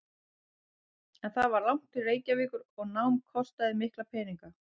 En það var langt til Reykjavíkur og nám kostaði mikla peninga.